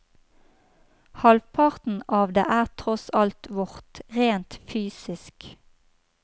Halvparten av det er tross alt vårt, rent fysisk.